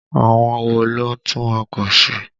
Àwọn wo ló ń tún ọkọ̀ ṣe?